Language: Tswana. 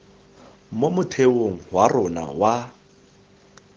mo motheong wa rona wa